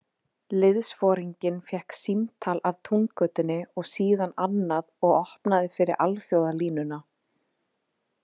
Liðsforinginn fékk símtal af Túngötunni og síðan annað og opnaði fyrir alþjóðalínuna.